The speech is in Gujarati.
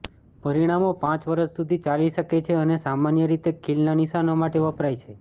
પરિણામો પાંચ વર્ષ સુધી ચાલી શકે છે અને સામાન્ય રીતે ખીલના નિશાનો માટે વપરાય છે